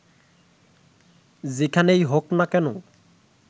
যেখানেই হোক না কেন